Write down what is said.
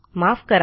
माफ करा